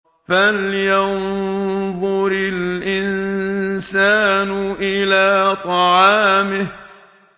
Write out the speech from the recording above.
فَلْيَنظُرِ الْإِنسَانُ إِلَىٰ طَعَامِهِ